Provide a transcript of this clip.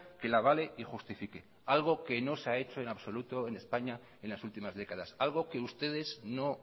que la avale y justifique algo que no se ha hecho en absoluto en españa en las últimas décadas algo que ustedes no